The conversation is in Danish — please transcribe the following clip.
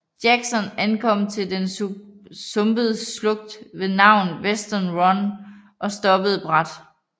Jackson ankom til den sumpede slugt ved navn Western Run og stoppede brat